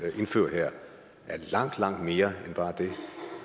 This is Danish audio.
indføre her er langt langt mere end bare det